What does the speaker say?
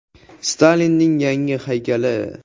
Stalinning yangi haykali.